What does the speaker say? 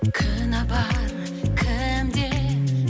кінә бар кімде